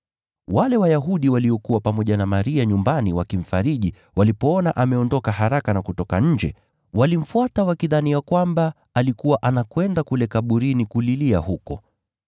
Wale Wayahudi waliokuwa pamoja na Maria nyumbani wakimfariji walipoona ameondoka haraka na kutoka nje, walimfuata wakidhani ya kwamba alikuwa anakwenda kule kaburini kulilia huko.